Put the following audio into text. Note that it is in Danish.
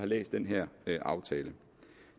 læst den her aftale